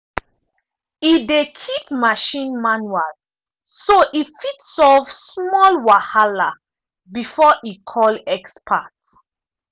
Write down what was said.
e dey keep machine manual so e fit solve small wahala before e call expert.